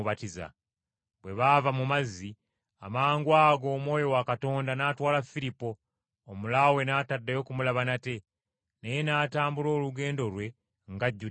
Bwe baava mu mazzi amangwago Omwoyo wa Mukama n’atwala Firipo, Omulaawe n’ataddayo kumulaba nate, naye n’atambula olugendo lwe ng’ajjudde essanyu.